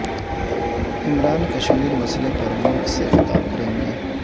عمران کشمیر مسئلے پر ملک سے خطاب کریں گے